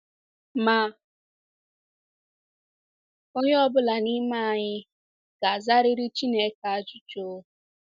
Ma onye ọ bụla n’ime anyị ga-azariri Chineke ajụjụ.